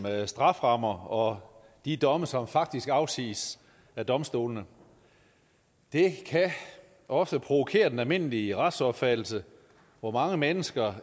strafferammer og de domme som faktisk afsiges af domstolene det kan ofte provokere den almindelige retsopfattelse for mange mennesker